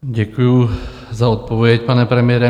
Děkuju za odpověď, pane premiére.